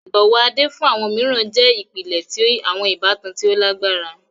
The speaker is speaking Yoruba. Ibọwọ Ade fun awọn miiran jẹ ipilẹ ti awọn ibatan ti o lagbara.